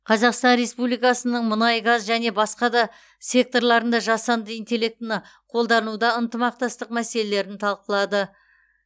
қазақстан республикасының мұнайгаз және басқа да секторларында жасанды интеллектіні қолдануда ынтымақтастық мәселелерін талқылады